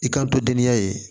I kanto deniya ye